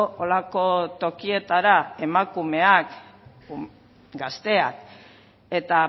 holako tokietara emakumeak gazteak eta